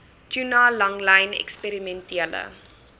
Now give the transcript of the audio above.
tuna langlyn eksperimentele